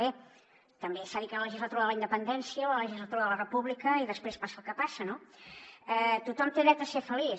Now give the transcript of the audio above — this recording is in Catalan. bé també s’ha dit que era la legislatura de la independència o la legislatura de la república i després passa el que passa no tothom té dret a ser feliç